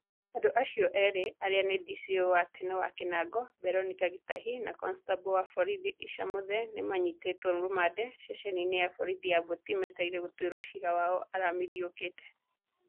Andũ aciio erĩ arĩa nĩ DCĩO wa tene wa Kinango Beronica Gitahi na konistabo wa borithi ĩssa Muthee nĩ manyitĩtwo rũmande ceceni-inĩ ya borithi ya boti metereire gũtuĩrwo ciira wao arihamithi yũkĩĩte